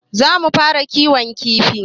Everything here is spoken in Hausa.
Za mu fara kiwon kifi.